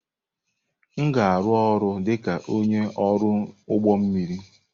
M ga-arụ ọrụ dịka onye ọrụ ụgbọ mmiri.